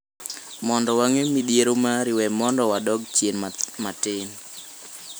Mondo wang’e midhiero mari, we mondo wadok chien matin.